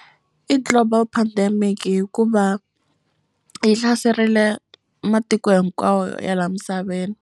I global pandemic hikuva yi hlaserile matiko hinkwawo ya la misaveni.